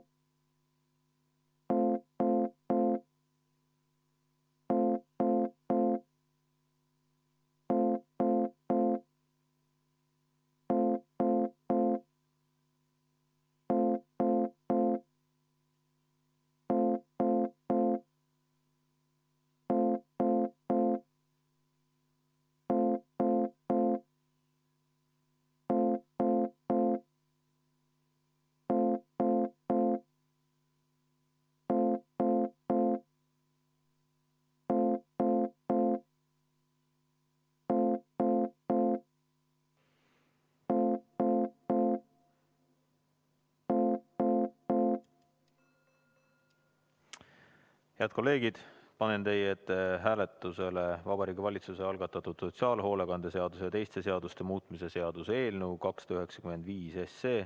Head kolleegid, panen teie ette hääletusele Vabariigi Valitsuse algatatud sotsiaalhoolekande seaduse ja teiste seaduste muutmise seaduse eelnõu 295.